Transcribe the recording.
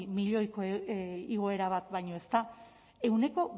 milioiko igoera bat baino ez da ehuneko